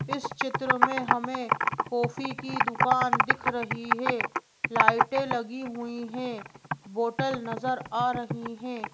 इस चित्र में हमें कॉफी की दुकान दिख रही है लाइटें लगी हुई हैं बोटल नजर आ रही हैं।